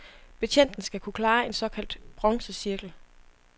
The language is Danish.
Betjenten skal kunne klare en såkaldt bronzecirkel.